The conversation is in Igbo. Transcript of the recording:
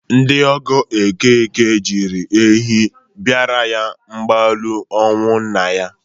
Ndị ọgọ Okeke ji ehi bịara ya mgbalu ọnwụ nna ya.